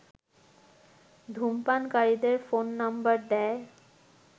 ধূমপানকারীদের phone number দেয়